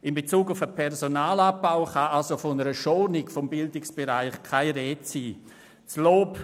In Bezug auf den Personalabbau kann also von einer Schonung im Bildungsbereich keine Rede sein.